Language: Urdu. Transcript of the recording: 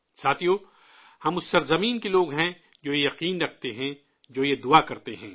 ساتھیو، ہم اس سرزمین کے لوگ ہیں، جو یہ یقین کرتے ہیں، جو یہ پرارتھنا کرتے ہیں